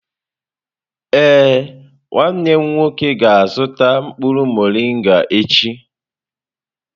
Ee, nwanne m nwoke ga-azụta mkpụrụ morịnga echi.